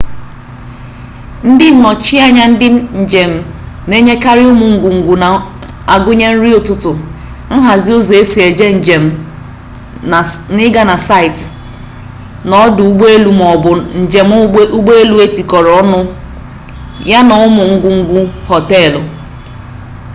ndị nnọchi anya ndị njem na-enyekarị ụmụ ngwungwu na-agụnye nri ụtụtụ nhazi ụzọ esi eje njem ịga na/site na ọdụ ụgbọelu ma ọ bụ njem ụgbọelu etikọrọ ọnụ ya na ụmụ ngwungwu họteelụ